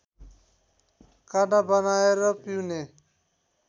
काँडा बनाएर पिउने